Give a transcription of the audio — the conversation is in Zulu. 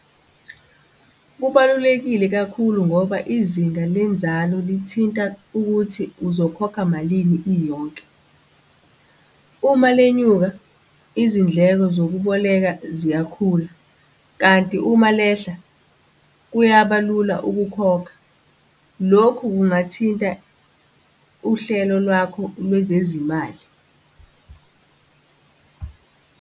Kubalulekile kakhulu ngoba izinga lenzalo lithinta ukuthi uzokhokha malini, iyonke. Uma lenyuka, izindleko zokuboleka ziyakhula, kanti uma lehla kuyaba lula ukukhokha. Lokhu kungathinta uhlelo lwakho lwezezimali.